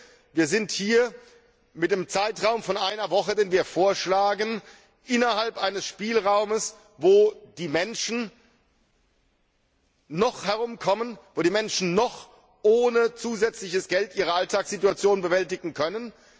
Ich denke, wir sind hier mit dem Zeitraum von einer Woche, den wir vorschlagen, innerhalb eines Spielraumes, wo die Menschen noch herumkommen, wo die Menschen noch ohne zusätzliches Geld ihre Alltagssituationen bewältigen können.